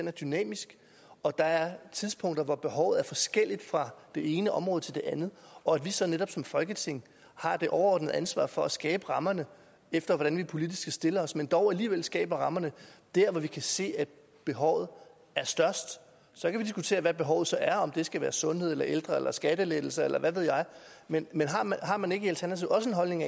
er dynamisk og der er tidspunkter hvor behovet er forskelligt fra det ene område til det andet og at vi så netop som folketing har det overordnede ansvar for at skabe rammerne efter hvordan vi politisk stiller os men dog alligevel skaber rammerne der hvor vi kan se at behovet er størst så kan vi diskutere hvad behovet så er om det skal være sundhed eller ældre eller skattelettelser eller hvad ved jeg men har man ikke i alternativet også en holdning